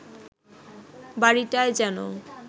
বাড়িটায় যেন